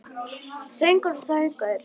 Sögur og söngur.